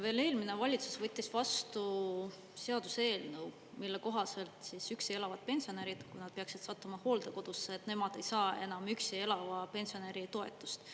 Veel eelmine valitsus võttis vastu seaduseelnõu, mille kohaselt üksi elavad pensionärid, kui nad peaksid sattuma hooldekodusse, ei saa enam üksi elava pensionäri toetust.